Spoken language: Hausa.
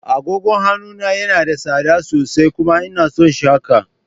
Agogon hannu na yana da tsada sosai. kuma ina son shi haka.